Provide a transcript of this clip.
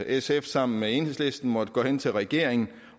sf sammen med enhedslisten måttet gå hen til regeringen